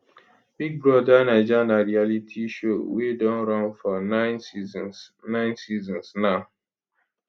big brother naija na reality show wey don run for nine seasons nine seasons now